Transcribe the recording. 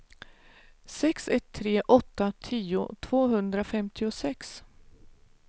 sex ett tre åtta tio tvåhundrafemtiosex